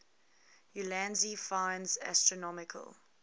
ulansey finds astronomical